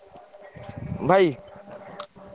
ଭାଇ?